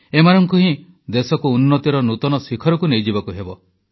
ଏମାନଙ୍କୁ ହିଁ ଦେଶକୁ ଉନ୍ନତିର ନୂତନ ଶିଖରକୁ ନେଇଯିବାକୁ ହେବ